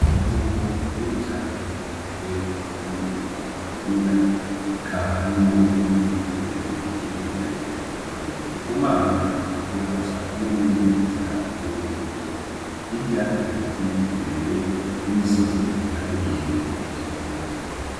Itongo rinini cane rigizwe n'umurima w'ingano eka harimwo n'ibiti birebire bikikuje iryo tongo, Ndikumana ariko aca imwe murizo nzira ziri muriryo tongo, hirya hari ibiti birebire n'imisozi ihanamiye iryo tongo.